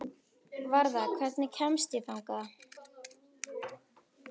Varða, hvernig kemst ég þangað?